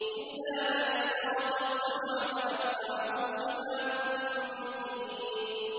إِلَّا مَنِ اسْتَرَقَ السَّمْعَ فَأَتْبَعَهُ شِهَابٌ مُّبِينٌ